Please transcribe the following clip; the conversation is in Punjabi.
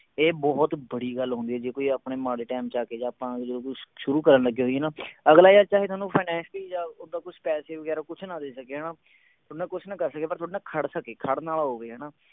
ਇਹ ਬਹੁਤ ਬੜੀ ਗੱਲ ਹੁੰਦੀ ਹੈ ਜੇ ਕੋਈ ਆਪਣੇ ਮਾੜੇ ਟੈਮ ਚ ਆਕੇ ਜਾ ਜਦੋਂ ਆਪਾਂ ਜਦੋ ਕੁਛ ਸ਼ੁਰੂ ਕਰਨ ਲੱਗੇ ਹੋਈਏ ਨਾ ਅਗਲਾ ਚਾਹੇ ਥੋਨੂੰ finacially ਜਾ ਓਦਾਂ ਕੁਛ ਪੈਸੇ ਵਗੈਰਾ ਕੁਛ ਨਾ ਦੇ ਸਕੇ ਹਣਾ ਥੋਡੇ ਨਾਲ ਕੁਛ ਨਾ ਕਰ ਸਕੇ ਪਰ ਤੁਹਾਡੇ ਨਾਲ ਖੜ ਸਕੇ ਖੜਨ ਆਲਾ ਹੋਵੇ ਹਣਾ।